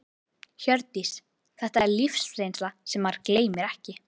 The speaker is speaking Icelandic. Hjördís: Þetta er lífsreynsla sem maður gleymir ekki?